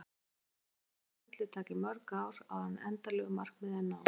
Síðan má reikna með að ferlið taki mörg ár áður en endanlegu markmiði er náð.